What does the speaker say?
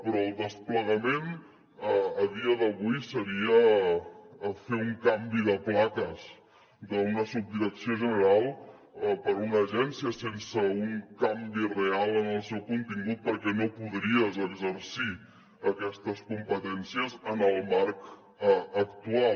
però el desplegament a dia d’avui seria fer un canvi de plaques d’una subdirecció general per una agència sense un canvi real en el seu contingut perquè no podries exercir aquestes competències en el marc actual